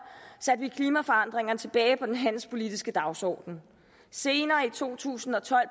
satte vi klimaforandringerne tilbage på den handelspolitiske dagsorden senere i to tusind og tolv